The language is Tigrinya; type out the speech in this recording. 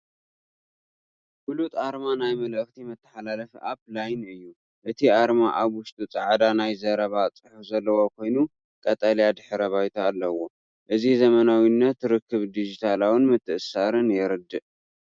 ፍሉጥ ኣርማ ናይ መልእኽቲ መተሓላለፊ ኣፕ "LINE" እዩ። እቲ ኣርማ ኣብ ውሽጢ ጻዕዳ ናይ ዘረባ ጽሑፍ ዘለዎ ኮይኑ፡ ቀጠልያ ድሕረ ባይታ ኣለዎ። እዚ ዘመናዊነት፣ ርክብን ዲጂታላዊ ምትእስሳርን የርድእ።